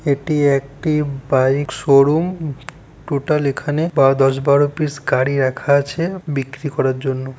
এটি একটি bike showroom. Total এখানে বা দশ বারো পিস গাড়ি রাখা আছে। বিক্রি করার জন্য।